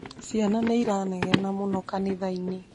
Ciana nĩ iranegena mũno kanithainĩ